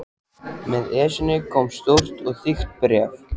Með Esjunni kom stórt og þykkt bréf.